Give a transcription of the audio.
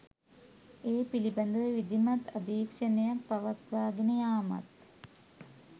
ඒ පිළිබඳව විධිමත් අධීක්ෂණයක් පවත්වාගෙන යාමත්